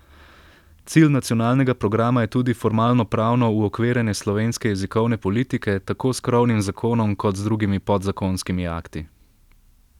Cilj nacionalnega programa je tudi formalnopravno uokvirjanje slovenske jezikovne politike, tako s krovnim zakonom kot z drugimi podzakonskimi akti.